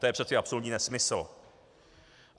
To je přeci absolutní nesmysl.